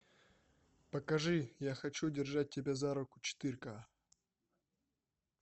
покажи я хочу держать тебя за руку четыре ка